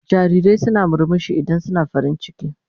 Jarirai suna murmushi idan suna farin ciki.